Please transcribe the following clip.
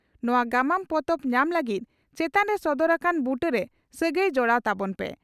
ᱱᱚᱣᱟ ᱜᱟᱢᱟᱢ ᱯᱚᱛᱚᱵ ᱧᱟᱢ ᱞᱟᱹᱜᱤᱫ ᱪᱮᱛᱟᱱ ᱨᱮ ᱥᱚᱫᱚᱨ ᱟᱠᱟᱱ ᱵᱩᱴᱟᱹᱨᱮ ᱥᱟᱹᱜᱟᱹᱭ ᱡᱚᱲᱟᱣ ᱛᱟᱵᱚᱱ ᱯᱮ ᱾